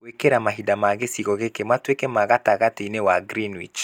gwĩkĩra mahinda ma gicigo giki matuike ma gatagatĩ-inĩ wa greenwich